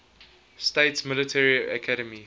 states military academy